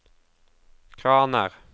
kraner